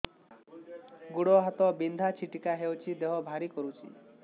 ଗୁଡ଼ ହାତ ବିନ୍ଧା ଛିଟିକା ହଉଚି ଦେହ ଭାରି କରୁଚି